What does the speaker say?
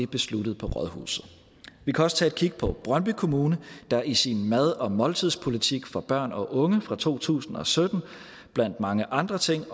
besluttet på rådhuset vi kan også tage et kig på brøndby kommune der i sin mad og måltidspolitik for børn og unge fra to tusind og sytten blandt mange andre ting